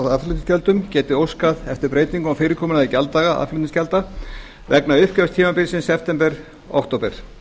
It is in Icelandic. á aðflutningsgjöldum geti óskað eftir breytingu á fyrirkomulagi gjalddaga aðflutningsgjalda vegna uppgjörstímabilsins september til október